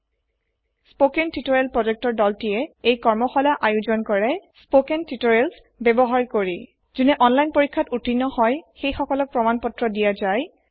the spoken tutorial project ডলে এই কৰ্মশালা আয়োজন কৰে স্পকেন তিওতৰিয়েলs ব্যৱহাৰ কৰি প্ৰমান পত্ৰ দিয়া জাই যোনে অনলাইন পৰিক্ষ্যাত ওত্তীৰ্ণ হয়